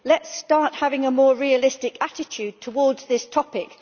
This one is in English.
Let us start having a more realistic attitude towards this topic.